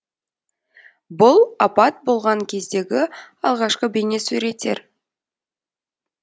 бұл апат болған кездегі алғашқы бейнесуреттер